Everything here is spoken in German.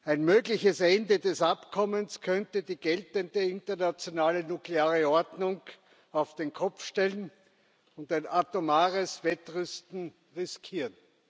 Ein mögliches Ende des Abkommens könnte die geltende internationale nukleare Ordnung auf den Kopf stellen und ein atomares Wettrüsten riskieren.